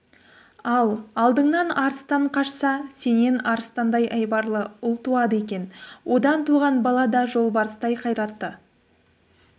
ал алдыңнан арыстан қашса сенен арыстандай айбарлы ұл туады екен одан туған бала да жолбарыстай қайратты